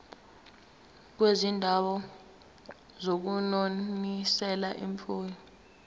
kwizindawo zokunonisela imfuyo